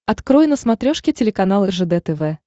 открой на смотрешке телеканал ржд тв